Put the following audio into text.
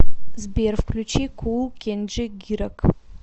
сбер включи кул кенджи гирак